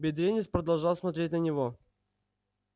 бедренец продолжал смотреть на него